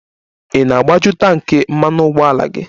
Ị na-agbaju tanki mmanụ ụgbọala gị?